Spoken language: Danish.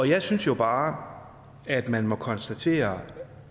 jeg synes jo bare at man må konstatere